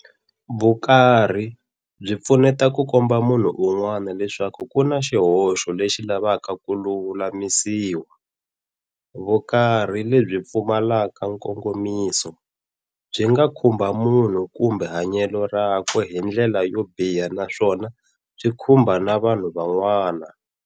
Vukarhi byi pfuneta ku komba munhu un'wana leswaku kuna xihoxo lexi lavaka ku lulamisiwa. Vukarhi lebyi pfumalaka nkongomiso, byi nga khumba munhu kumbe hanyelo rakwe hindlela yobiha naswona byi khumba na vanhu van'wana.